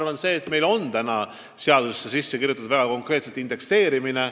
Vahest seda, et meil on seadusesse sisse kirjutatud indekseerimine.